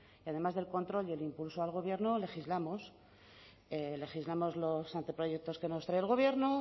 además del control y el impulso al gobierno legislamos legislamos los anteproyectos que nos trae el gobierno